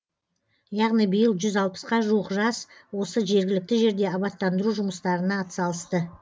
яғни биыл жүз алпысқа жуық жас осы жергілікті жерде абаттандыру жұмыстарына атсалысты